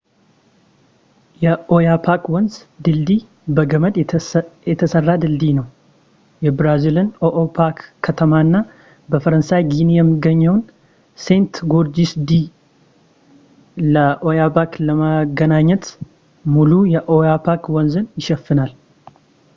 የኦያፖክ ወንዝ ድልድይ በገመድ የተሰራ ድልድይ ነው የብራዚልን የኦኢፖክ ከተማና በፈረንሳይ ጊኒ የሚገኘውን ሴንት-ጎርጅስ ዲ ለኦያበክ ለማገናኘት ሙሉ የኦያፖክ ወንዝን ይሸፈናል